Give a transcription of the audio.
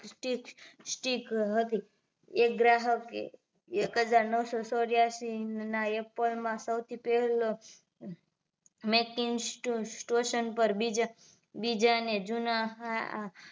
Stick હતી એક ગ્રાહકે એક હજાર નવસો ચોર્યાશી ના apple માં સૌથી પહેલો making stotion પર બીજાં બીજાને જુના